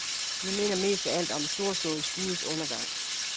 Det minder mest af alt om en storslået skudes undergang.